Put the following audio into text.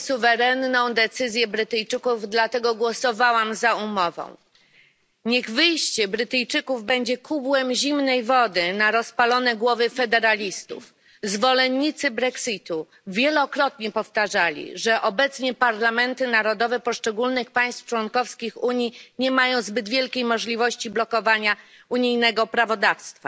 Pani Przewodnicząca! Szanuję suwerenną decyzję Brytyjczyków, dlatego głosowałam za umową. Niech wyjście Brytyjczyków będzie kubłem zimnej wody na rozpalone głowy federalistów. Zwolennicy brexitu wielokrotnie powtarzali, że obecnie parlamenty narodowe poszczególnych państw członkowskich Unii nie mają zbyt wielkiej możliwości blokowania unijnego prawodawstwa.